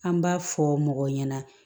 An b'a fɔ mɔgɔ ɲɛna